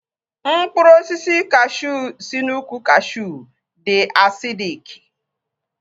Mkpụrụ osisi kashuu si na ukwu kashuu dị asidik